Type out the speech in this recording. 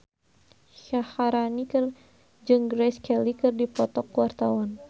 Syaharani jeung Grace Kelly keur dipoto ku wartawan